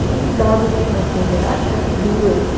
Quando davam uma eram duas.